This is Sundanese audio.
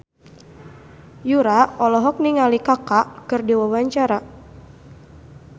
Yura olohok ningali Kaka keur diwawancara